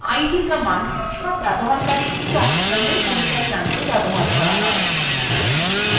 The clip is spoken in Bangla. id – command সব ব্যবহারকারী এবং দলের পরিচয় জানতে ব্যবহার করা হয়